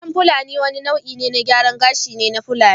Salon fulani wani nau’in gyaran gashi ne na matan fulani